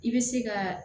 I bɛ se ka